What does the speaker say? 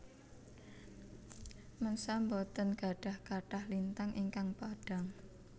Mensa boten gadhah kathah lintang ingkang padhang